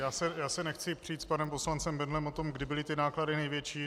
Já se nechci přít s panem poslancem Bendlem o tom, kdy byly ty náklady největší.